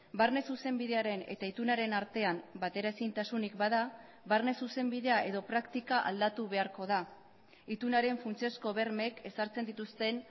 barne zuzenbidearen eta itunaren artean bateraezintasunik bada barne zuzenbidea edo praktika aldatu beharko da itunaren funtsezko bermeek ezartzen dituzten